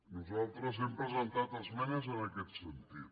nosaltres hem presentat esmenes en aquest sentit